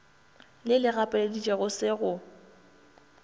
le le gapeleditšego se go